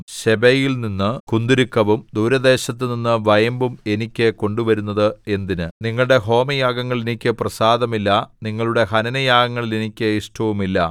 ശെബയിൽനിന്നു കുന്തുരുക്കവും ദൂരദേശത്തുനിന്നു വയമ്പും എനിക്ക് കൊണ്ടുവരുന്നത് എന്തിന് നിങ്ങളുടെ ഹോമയാഗങ്ങളിൽ എനിക്ക് പ്രസാദമില്ല നിങ്ങളുടെ ഹനനയാഗങ്ങളിൽ എനിക്ക് ഇഷ്ടവുമില്ല